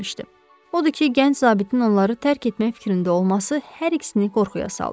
Odur ki, gənc zabitin onları tərk etmək fikrində olması hər ikisini qorxuya saldı.